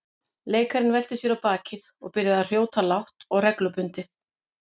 Leikarinn velti sér á bakið og byrjaði að hrjóta lágt og reglubundið.